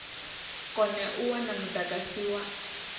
kone u wana mudagasi wa